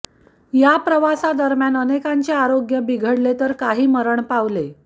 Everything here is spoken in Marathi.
या प्रवासादरम्यान अनेकांचे आरोग्य बिघडले तर काही मरण पावले